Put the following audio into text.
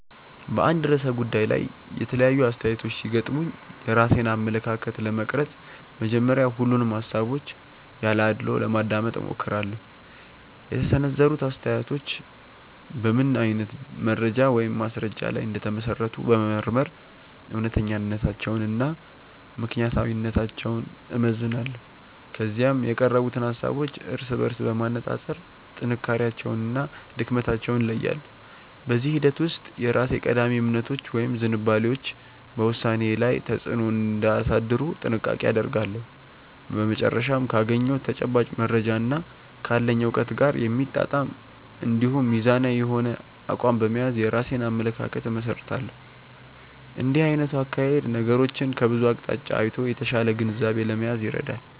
በአንድ ርዕሰ ጉዳይ ላይ የተለያዩ አስተያየቶች ሲገጥሙኝ የራሴን አመለካከት ለመቅረጽ መጀመሪያ ሁሉንም ሃሳቦች ያለ አድልዎ ለማዳመጥ እሞክራለሁ። የተሰነዘሩት አስተያየቶች በምን አይነት መረጃ ወይም ማስረጃ ላይ እንደተመሰረቱ በመመርመር እውነተኛነታቸውንና ምክንያታዊነታቸውን እመዝናለሁ። ከዚያም የቀረቡትን ሃሳቦች እርስ በርስ በማነጻጸር ጥንካሬያቸውንና ድክመታቸውን እለያለሁ። በዚህ ሂደት ውስጥ የራሴ ቀዳሚ እምነቶች ወይም ዝንባሌዎች በውሳኔዬ ላይ ተጽዕኖ እንዳያሳድሩ ጥንቃቄ አደርጋለሁ። በመጨረሻም ካገኘሁት ተጨባጭ መረጃና ካለኝ እውቀት ጋር የሚጣጣም እንዲሁም ሚዛናዊ የሆነ አቋም በመያዝ የራሴን አመለካከት እመሰርታለሁ። እንዲህ አይነቱ አካሄድ ነገሮችን ከብዙ አቅጣጫ አይቶ የተሻለ ግንዛቤ ለመያዝ ይረዳል።